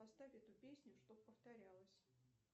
поставь эту песню чтоб повторялась